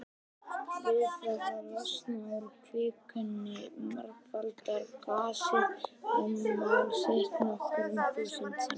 Við það að losna úr kvikunni margfaldar gasið rúmmál sitt nokkur þúsund sinnum.